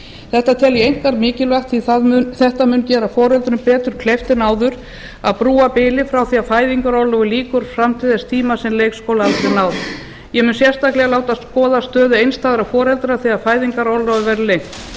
þetta tel ég einkar mikilvægt því að þetta mun gera foreldrum betur kleift en áður að brúa bilið frá því að fæðingarorlofi lýkur fram til þess tíma sem leikskólaaldri en náð ég mun sérstaklega láta skoða stöðu einstæðra foreldra þegar fæðingarorlofið verður lengt